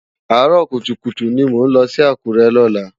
Àárò kútúkútú ni mó nlò si Akure lòlá